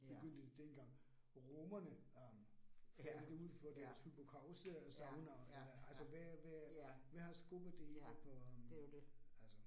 Begyndte det dengang romerne øh fandt ud for deres hypocauste saunaer eller altså hvad hvad hvad har skubbet det hele på altså